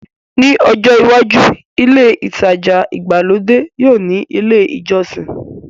Ní ọjọ́ iwájú, ilé ìtajà ìgbàlódé yóò ní ilé ìjọsìn